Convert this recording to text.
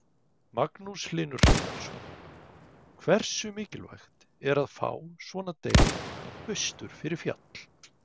Magnús Hlynur Hreiðarsson: Hversu mikilvægt er að fá svona deild austur fyrir fjall?